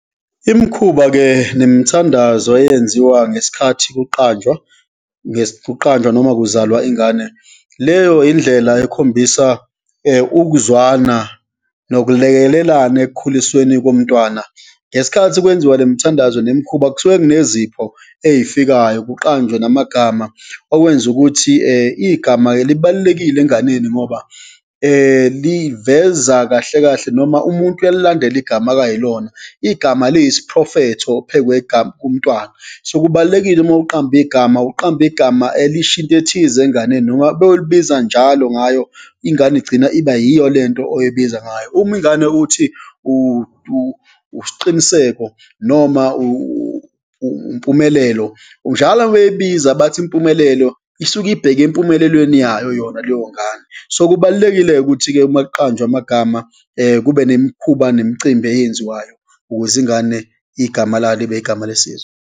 Imikhuba-ke nemithandazo eyenziwa ngesikhathi kuqanjwa, kuqanjwa noma kuzalwa ingane, leyo indlela ekhombisa ukuzwana nokulekelelana ekukhulisweni komntwana. Ngesikhathi kwenziwa le mithandazo nemikhuba, kusuke kunezipho eyifikayo, kuqanjwe namagama okwenza ukuthi igama-ke libalulekile enganeni ngoba liveza kahle kahle noma umuntu uyalandela igama akuyilona. Igama liyisiphrofetho phekwegama, kumntwana. So, kubalulekile uma uqamba igama, uqambe igama elisho into ethize inganeni noma beyolibiza njalo ngayo, ingane igcina iba yiyo lento oyibiza ngayo. Uma ingane uthi uSiqiniseko noma uMpumelelo njalo uma beyibiza bathi Mpumelelo isuke ibheke empumelelweni yayo yona leyo ngane. So, kubalulekile ukuthi-ke uma kuqanjwa amagama, kube nemikhuba nemicimbi eyenziwayo ukuze ingane igama layo libe igama lesizwe.